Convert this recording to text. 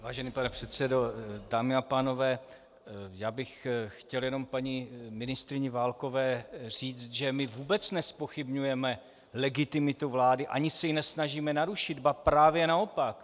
Vážený pane předsedo, dámy a pánové, já bych chtěl jenom paní ministryni Válkové říci, že my vůbec nezpochybňujeme legitimitu vlády ani se ji nesnažíme narušit, ba právě naopak.